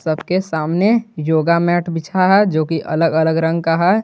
सबके सामने yoga mat बिछा है जो कि अलग अलग रंग का है।